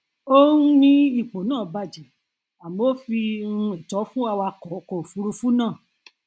ó um ní ipo náà bajẹ àmọ ó fi um ẹtọ fún awakọ ọkọ òfuurufú náà